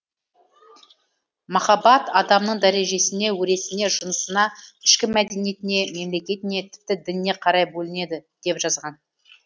махаббат адамның дәрежесіне өресіне жынысына ішкі мәдениетіне мемлекетіне тіпті дініне қарай бөлінеді деп жазған